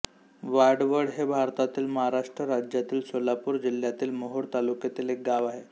वाडवळ हे भारतातील महाराष्ट्र राज्यातील सोलापूर जिल्ह्यातील मोहोळ तालुक्यातील एक गाव आहे